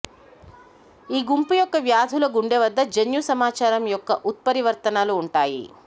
ఈ గుంపు యొక్క వ్యాధుల గుండె వద్ద జన్యు సమాచారం యొక్క ఉత్పరివర్తనలు ఉంటాయి